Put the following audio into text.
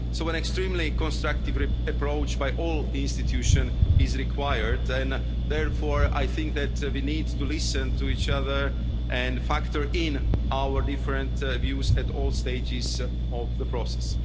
So an extremely constructive approach by all institutions is required and therefore I think that we need to listen to each other and factor in our different views at all stages of the process.